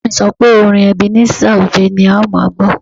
Bàbá mi sọ pé orin Ebenezer Obey ni a máa gbọ́